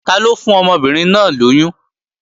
Taló fún ọmọbìnrin náà lóyún?